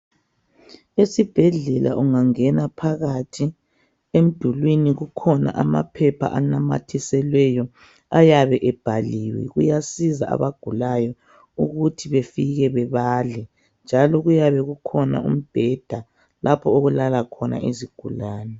Esibhedlela ungangena phakathi emdulwini kukhona amaphepha anamathiselweyo ayabe ebhaliwe kuyasiza abagulayo ukuthi befike bebale njalo kuyabe kukhona umbheda labo okulala khona izigulane